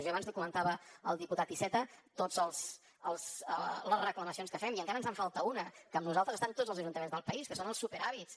jo abans comentava al diputat iceta totes les reclamacions que fem i encara ens en falta una que amb nosaltres estan tots els ajuntaments del país que són els superàvits